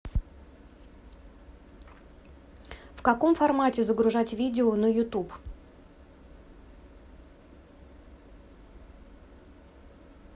в каком формате загружать видео на ютуб